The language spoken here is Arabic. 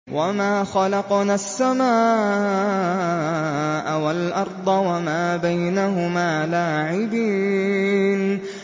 وَمَا خَلَقْنَا السَّمَاءَ وَالْأَرْضَ وَمَا بَيْنَهُمَا لَاعِبِينَ